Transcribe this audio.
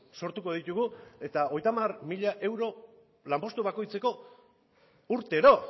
sortuko ditugu eta hogeita hamar mila mila euro lanpostu bakoitzeko urtero